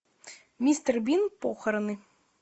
мистер бин похороны